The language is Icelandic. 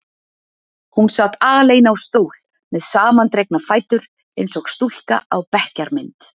Hún sat alein á stól með samandregna fætur eins og stúlka á bekkjarmynd.